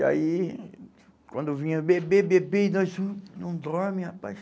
E aí, quando vinha, bebê, bebê, e nós, não, não dorme, rapaz.